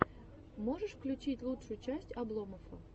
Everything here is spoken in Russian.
можешь включить лучшую часть обломоффа